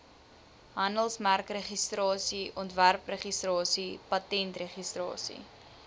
handelsmerkregistrasie ontwerpregistrasie patentregistrasie